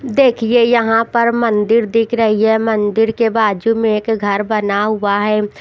देखिए यहां पर मंदिर दिख रही है मंदिर के बाजू में एक घर बना हुआ है।